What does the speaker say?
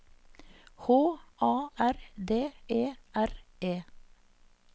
H A R D E R E